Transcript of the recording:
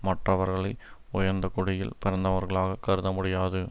மற்றவர்களை உயர்ந்த குடியில் பிறந்தவர்களாகக் கருத முடியாது